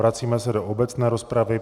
Vracíme se do obecné rozpravy.